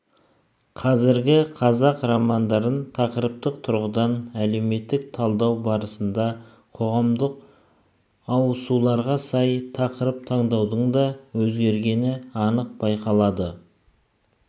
қазіргі қазақ романдарын тақырыптық тұрғыдан әлеуметтік талдау барысында қоғамдық ауысуларға сай тақырып таңдаудың да өзгергені анық байқалады